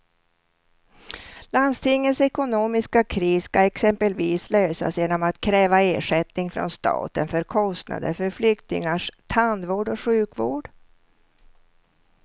Landstingets ekonomiska kris ska exempelvis lösas genom att kräva ersättning från staten för kostnader för flyktingars tandvård och sjukvård.